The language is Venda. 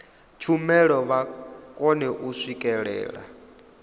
tshumelo vha kone u swikelela